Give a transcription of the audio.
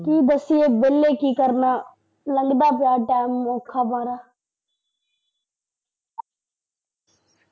ਕੀ ਦੱਸੀਏ ਵੇਲੇ ਕੀ ਕਰਨਾ, ਲੱਗਦਾ ਪਿਆ ਟੈਮ ਔਖਾ ਵਾੜਾ।